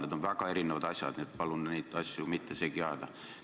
Need on väga erinevad asjad, nii et palun neid mitte segi ajada.